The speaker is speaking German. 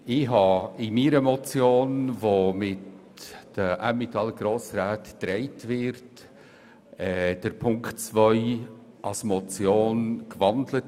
Ich habe Ziffer 2 meiner Motion, die von den Emmentaler Grossräten getragen wird, in ein Postulat umgewandelt.